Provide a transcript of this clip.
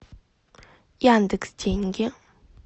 яндекс деньги